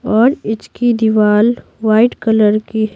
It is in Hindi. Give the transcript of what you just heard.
और इसकी दीवार वाइट कलर की।